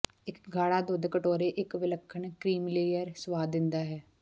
ਇੱਕ ਗਾੜਾ ਦੁੱਧ ਕਟੋਰੇ ਇੱਕ ਵਿਲੱਖਣ ਕ੍ਰੀਮੀਲੇਅਰ ਸੁਆਦ ਦਿੰਦਾ ਹੈ